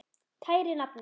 Kæri nafni.